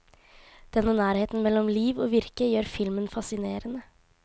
Denne nærheten mellom liv og virke gjør filmen fascinerende.